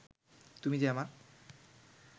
তুমি যে আমার